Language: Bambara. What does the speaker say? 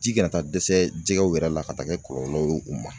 Ji kana taa dɛsɛ jɛgɛw yɛrɛ la ka taa kɛ kɔlɔlɔ ye u ma